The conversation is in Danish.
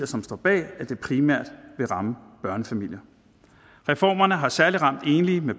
som står bag at det primært vil ramme børnefamilier reformerne har særlig ramt enlige med